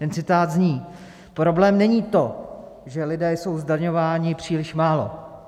Ten citát zní: Problém není to, že lidé jsou zdaňováni příliš málo.